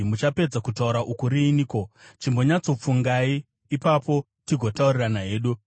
“Muchapedza kutaura uku riiniko? Chimbonyatsofungai, ipapo tigotaurirana hedu.